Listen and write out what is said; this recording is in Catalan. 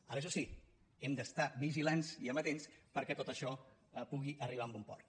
ara això sí hem d’estar vigilants i amatents perquè tot això pugui arribar a bon port